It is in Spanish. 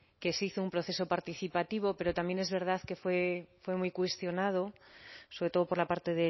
que se hizo un proceso participativo pero también es verdad que fue muy cuestionado sobre todo por la parte